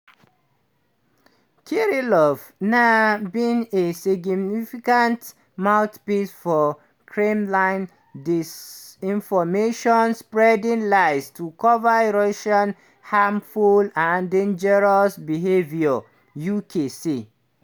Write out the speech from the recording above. "kirillov na been a significant mouthpiece for kremlin disinformation spreading lies to cover russia harmful and dangerous behaviour" uk say.